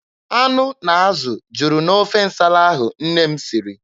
Anụ na azụ juru n'ofe nsala ahụ nne m siri.